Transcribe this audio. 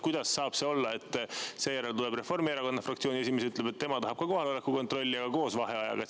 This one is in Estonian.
Kuidas saab see olla, et seejärel tuleb Reformierakonna fraktsiooni esimees ja ütleb, et tema tahab ka kohaloleku kontrolli, aga koos vaheajaga.